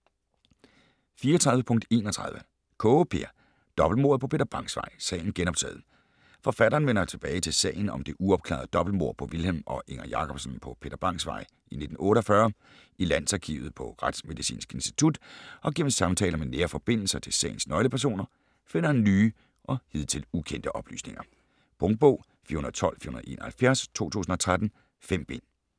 34.31 Kaae, Peer: Dobbeltmordet på Peter Bangs Vej: sagen genoptaget Forfatteren vender tilbage til sagen om det uopklarede dobbeltmord på Vilhelm og Inger Jacobsen på Peter Bangs Vej i 1948. I Landsarkivet, på Retsmedicinsk Institut og gennem samtaler med nære forbindelser til sagens nøglepersoner finder han nye og hidtil ukendte oplysninger. Punktbog 412471 2013. 5 bind.